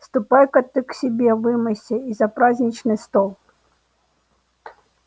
ступай-ка ты к себе вымойся и за праздничный стол